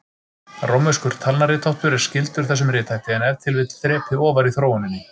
Rómverskur talnaritháttur er skyldur þessum rithætti, en ef til vill þrepi ofar í þróuninni.